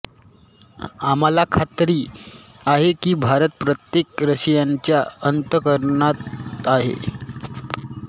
आम्हाला खात्री आहे की भारत प्रत्येक रशियनच्या अंत करणात आहे